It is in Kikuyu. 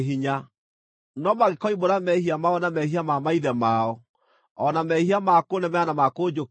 “ ‘No mangĩkoimbũra mehia mao na mehia ma maithe mao, o na mehia ma kũnemera na ma kũnjũkĩrĩra,